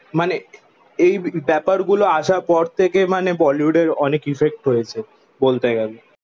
মানে এই ব্যাপার গুলো আসার পর থেকে মানে বলিউডের অনেক ইফেক্ট হয়েছে বলতে গেলে